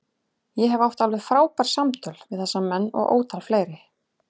Ég hef átt alveg frábær samtöl við þessa menn og ótal fleiri.